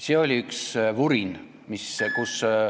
See oli üks vurin, mis ...